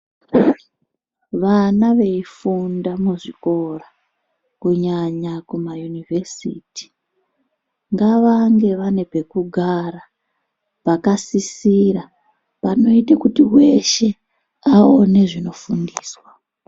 Vana veifunda muzvikora kunyanya kumaYunivhesiti ngavange vane pekugara pakasisira panoite kuti weshe aone zvinofundiswa.